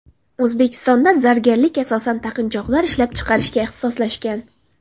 O‘zbekistonda zargarlik asosan taqinchoqlar ishlab chiqarishga ixtisoslashgan.